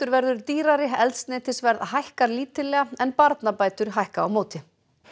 verður dýrari eldsneytisverð hækkar lítillega en barnabætur hækka á móti